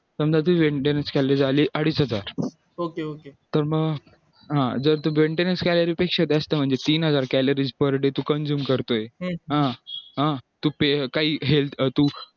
समझा तू maintenance calories आली सुद्धा तर मग हा जर तू maintenance calories पेक्षा जास्त म्हणजे तीन हजार calories per day तू consume करतोय काही help तू